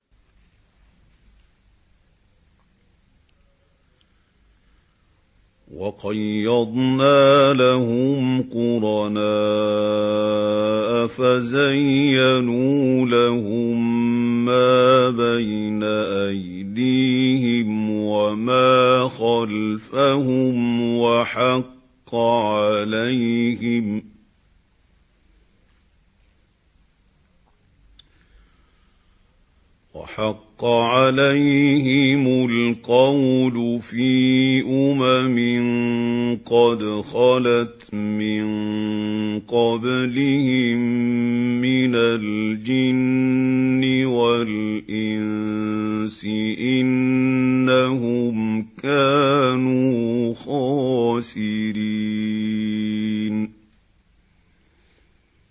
۞ وَقَيَّضْنَا لَهُمْ قُرَنَاءَ فَزَيَّنُوا لَهُم مَّا بَيْنَ أَيْدِيهِمْ وَمَا خَلْفَهُمْ وَحَقَّ عَلَيْهِمُ الْقَوْلُ فِي أُمَمٍ قَدْ خَلَتْ مِن قَبْلِهِم مِّنَ الْجِنِّ وَالْإِنسِ ۖ إِنَّهُمْ كَانُوا خَاسِرِينَ